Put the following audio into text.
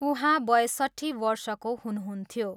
उहाँ बयसट्ठी वर्षको हुनुहुन्थ्यो।